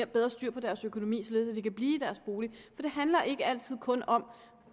bedre styr på deres økonomi således at de kan blive i deres bolig det handler ikke altid kun om